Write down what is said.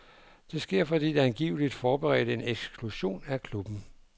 Det sker, fordi de angiveligt forberedte en eksklusion af klubben.